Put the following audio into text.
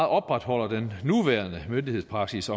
opretholder den nuværende myndighedspraksis